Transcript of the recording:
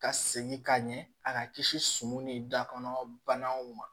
Ka segin ka ɲɛ a ka kisi sɔmi ni dakɔnɔ banaw ma